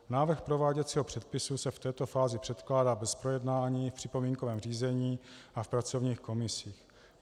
Návrh prováděcího předpisu se v této fázi předkládá bez projednání v připomínkovém řízení a v pracovních komisích.